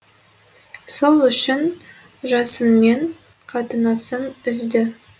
сол үшін жасынмен қатынасын үзді